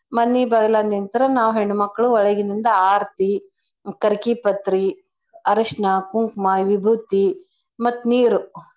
ಮನಿ ಬಾಲ್ಗಾಗ್ ನಿಂತ್ರ ನಾವ್ ಹೆಣ್ಮಕ್ಳು ಒಳಗಿಂದ ಆರ್ತಿ ಕರ್ಕಿ ಪತ್ರಿ ಅರಶ್ನ ಕುಂಕ್ಮ ವಿಬೂತಿ ಮತ್ತ್ ನೀರು.